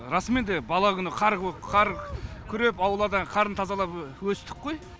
расымен де бала күні қар күреп аулада қарын тазалап өстік қой